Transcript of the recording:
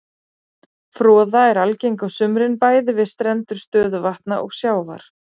Froða er algeng á sumrin bæði við strendur stöðuvatna og sjávar.